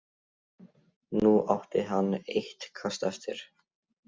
Nú átti hann eitt kast eftir.